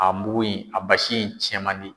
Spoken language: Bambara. A mugu in a basi in cɛn man di.